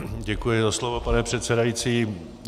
Děkuji za slovo, pane předsedající.